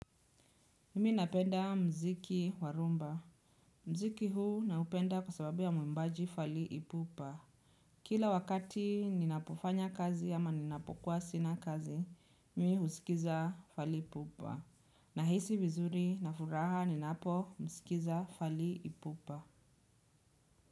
Mimi napenda mziki warumba. Mziki huu naupenda kwa sababu ya muimbaji fali ipupa. Kila wakati ninapofanya kazi ama ninapokuwa sina kazi, mi husikiza fali ipupa. Nahisi vizuri na furaha ninapo husikiza fali ipupa.